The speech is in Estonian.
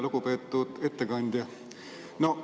Lugupeetud ettekandja!